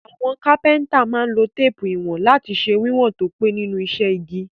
Àwon Kápẹ́ńtà má n lo téèpù ìwọ̀n lati se wíwòn to pé nínú isẹ́ igi